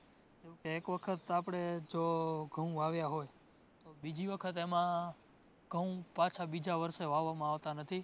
એક વખત આપણે જો ઘઉં વાવયાં હોય તો બીજી વખત એમાં પાછા ઘઉં બીજા વર્ષે વાવામાં આવતા નથી